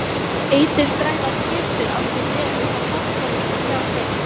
Eiturgrænar skyrtur áttu mjög upp á pallborðið hjá þeim.